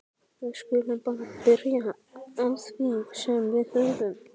Við skulum bara byrja á því sem við höfum.